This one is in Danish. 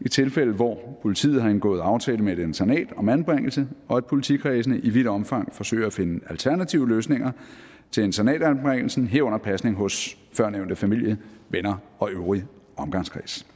i tilfælde hvor politiet har indgået aftale med et internat om anbringelse og at politikredsene i vidt omfang forsøger at finde alternative løsninger til internatanbringelsen herunder pasning hos førnævnte familie venner og øvrige omgangskreds